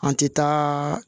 An ti taaaa